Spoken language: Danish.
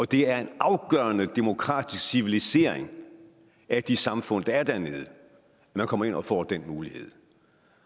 det er en afgørende demokratisk civilisering af de samfund der er dernede at man kommer ind og får den mulighed